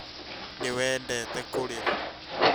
Nĩ wendete kũrĩra